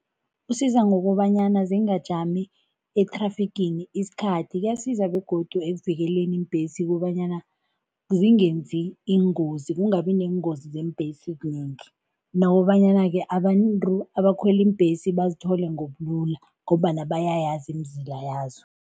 Usiza ngokobanyana zingajami ethrafigini isikhathi, kuyasiza begodu ekuvikeleni iimbhesi kobanyana zingenzi iingozi, kungabi neengozi zeembhesi kunengi nokobanyana-ke abantu abakhwela iimbhesi bazithole ngobulula ngombana bayayazi imizila yazo.